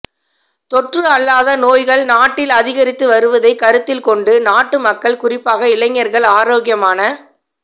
தொற்று அல்லாத நோய்கள் நாட்டில் அதிகரித்து வருவதைக் கருத்தில் கொண்டு நாட்டு மக்கள் குறிப்பாக இளைஞர்கள் ஆரோக்கியமான